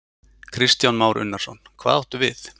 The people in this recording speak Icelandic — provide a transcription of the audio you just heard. Kristján Már Unnarsson: Hvað áttu við?